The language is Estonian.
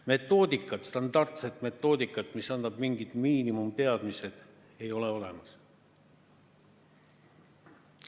Metoodikat, standardset metoodikat, mis annab mingid miinimumteadmised, ei ole olemas.